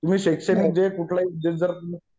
तुम्ही शैक्षणिक म्हणजे कुठलंही ह्याच्यात जर